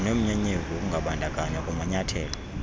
zinomnyenyevu wokungabandakanywa kumanyathelo